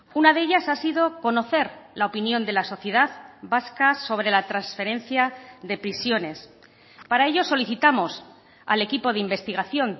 una de ellas ha sido conocer la opinión de la sociedad vasca sobre la transferencia de prisiones para ello solicitamos al equipo de investigación